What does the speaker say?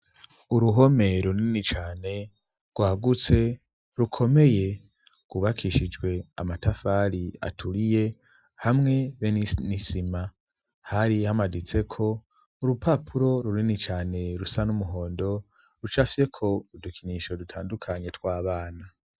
uruhome runini cane, rwagutse rukomeye, gubakishijwe amatafari aturiye, hamwe be n'isima. hari hamaditseko urupapuro runini cane rusa n'umuhondo, rucafyeko udukinisho dutandukanye tw'abana.